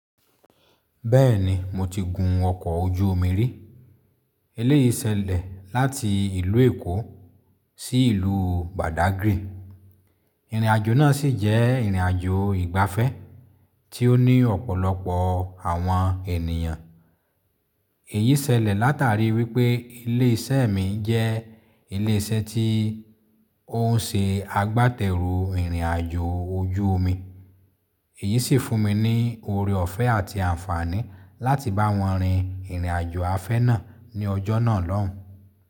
Bẹ́ẹ̀ni mo ti gun ọkọ̀ ojú omi rí. Eléyìí ṣẹlẹ̀ láti ìlú Èkó sí ìlú Badagry. Ìrìnàjò náà sì jẹ́ ìrìnàjò ìgbafẹ́ tí ó ní ọ̀pọ̀lọpọ̀ àwọn ènìyàn. Èyí sẹlẹ̀ látàrí wípé ilé isẹ́ mi n jẹ́ ilé isẹ́ tí ó ń se agbátẹrù ìrìnàjò ojú omi. Èyí sì fún mi ní oore ọ̀fẹ́ àti àǹfààní láti bá wọn rin ìrìnàjò afẹ́ náà ní ọjọ́ náà lọ́hùn.